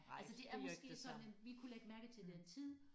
Altså det er måske sådan at vi kunne lægge mærke til det en tid